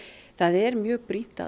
það er mjög brýnt að